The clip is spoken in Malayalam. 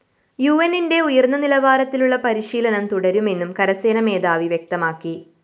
യുഎന്നിന്റെ ഉയര്‍ന്ന നിലവാരത്തിലുള്ള പരിശീലനം തുടരുമെന്നും കരസേനാ മേധാവി വ്യക്തമാക്കി